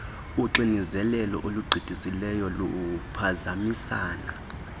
uxinezelelo olugqithisileyo luphazamisana